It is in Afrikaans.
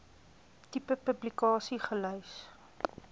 tipe publikasie gelys